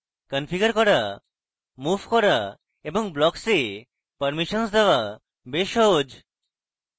configure করা move করা এবং blocks এ permissions দেওয়া বেশ সহজ